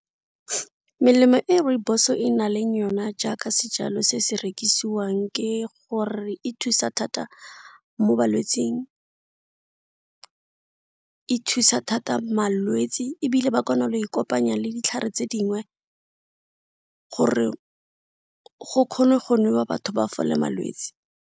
Melemo e rooibos e na leng yona jaaka sejalo se se rekisiwang ke gore e thusa thata mo balwetsing, e thusa thata malwetsi ebile ba le kopanya le ditlhare tse dingwe gore go kgonwe go nwewa batho ba fole malwetsi.